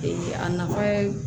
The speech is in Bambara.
a nafa ye